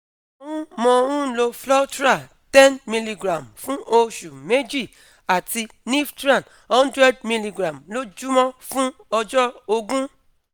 mo ń mo ń lo flotral ten milligram fún oṣù méjì àti niftran hundred milligram lójúmọ́ fún ọjọ́ ógún